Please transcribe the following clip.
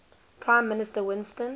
prime minister winston